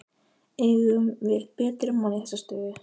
Eigum við betri mann í þessa stöðu?